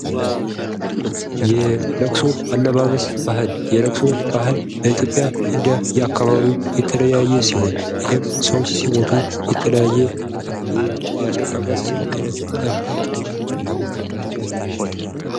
የለቅሶ አለባበስ ባህል የለቅሶ ባህል በኢትዮጵያ እንደየ አካባቢው የተለያየ ሲሆን ይህም ሰዎች ሲሞቱ የተለያየ የአለቃቀስ አይነት አለ።